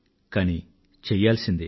కానీ చెయ్యాల్సిందే